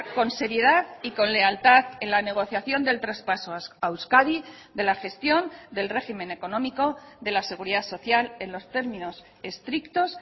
con seriedad y con lealtad en la negociación del traspaso a euskadi de la gestión del régimen económico de la seguridad social en los términos estrictos